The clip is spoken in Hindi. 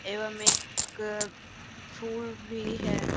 एवं एक फूल भी है।